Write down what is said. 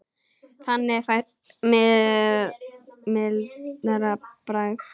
Þannig fæst mildara bragð.